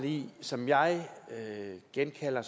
som jeg genkalder